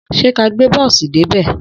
Sẹ kà gbẹ bọ̀sí dẹ bẹ?